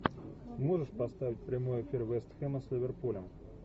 можешь поставить прямой эфир вест хэма с ливерпулем